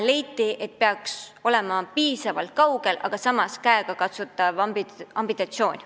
Leiti, et peaks olema piisavalt kaugel olev aasta, aga samas käegakatsutav ambitsioon.